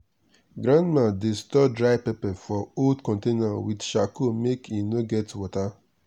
grandma dey store dry pepper for old container with charcoal make e no get water